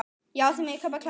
Já, þið megið klappa núna.